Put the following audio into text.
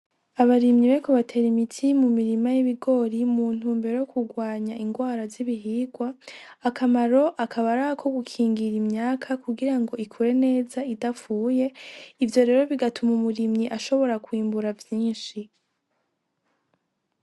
Abarimyi bariko batera imiti mi mirima yibigori mu ntumbero yokugwanya ingwara zibihingwa. Akamaro akaba ari ako gukingira imyaka kugirango ikure neza idapfuye ivyo rero bigatuma umurimyi ashobora kwimbura vyinshi.